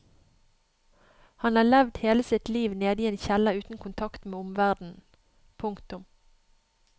Han har hele sitt liv levd nede i en kjeller uten kontakt med omverdenen. punktum